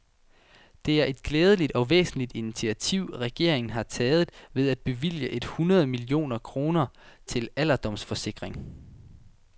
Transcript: Det er et glædeligt og væsentligt initiativ, regeringen har taget ved at bevilge et hundrede millioner kroner til alderdomsforskning.